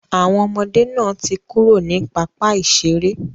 Àwọn ọmọdé náà ti kúrò ní pápá ìseré.